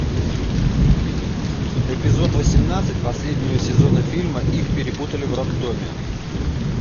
эпизод восемнадцать последнего сезона фильма их перепутали в роддоме